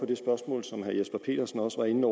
det spørgsmål som herre jesper petersen også var inde